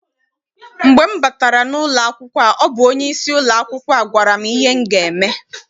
Mgbe m batara n'ụlọ a ọ bụ onyeisi ụlọakwụkwọ a gwara m ihe m ga eme.